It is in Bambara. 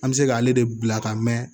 An bɛ se k'ale de bila ka mɛn